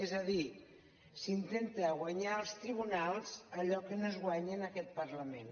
és a dir s’intenta guanyar als tribunals allò que no es guanya en aquest parlament